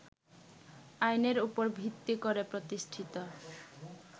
আইনের উপর ভিত্তি করে প্রতিষ্ঠিত